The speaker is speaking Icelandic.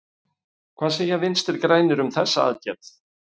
Hvað segja Vinstri-grænir um þessa aðgerð?